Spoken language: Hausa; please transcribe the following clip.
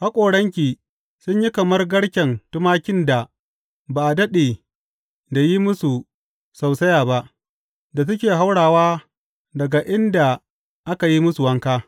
Haƙoranki sun yi kamar garken tumakin da ba a daɗe da yin musu sausaya ba, da suke haurawa daga inda aka yi musu wanka.